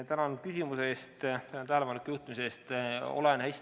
Tänan küsimuse eest ja tähelepanu juhtimise eest!